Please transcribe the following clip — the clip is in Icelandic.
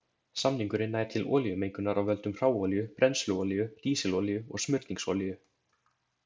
Samningurinn nær til olíumengunar af völdum hráolíu, brennsluolíu, dísilolíu og smurningsolíu.